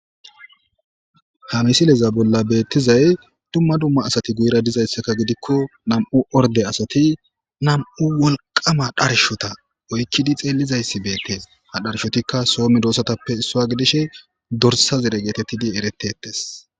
Ha misile bolla betizayisi duma duma asati guyera dizayisa gidiko na,mu orde asati na,mu wolqama dorsata oyiqidi xelishe dizayisi betes ha dorsatika so medosatappe isuwa gidishin dorsa zere getetidi eretes